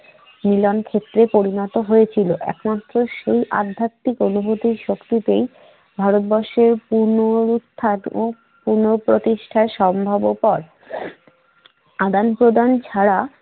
মিলন ক্ষেত্রে পরিণত হয়েছিল। এখনতো সেই আধ্যাত্মিক অনুভূতির শক্তিতেই ভারতবর্ষের পুনরুত্থান ও পুনঃপ্রতিষ্ঠা সম্ভবপর। আদান-প্রদান ছাড়া